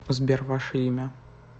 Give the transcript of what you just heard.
сбер ваше имя